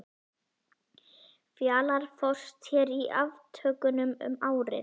Fjalar fórst hér í aftökunum um árið.